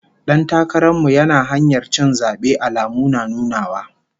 Dan takaran mu yana kan hanyar cin zabe, alamu na nunawa